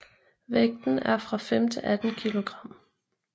Vægten er fra 5 til 18 kilogram